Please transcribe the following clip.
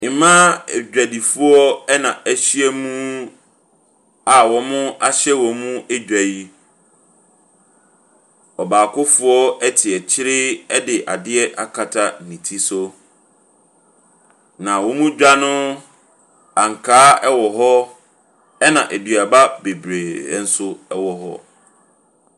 Mmaa adwadifoɔ na ahyia mu a wɔahyɛ wɔn dwa yi. Ɔbaakofoɔ te akyire de adeɛ akata ne ti so. Na wɔn dwa no ankaa wɔ hɔ, ɛna aduaba bebree nso wɔ hɔ.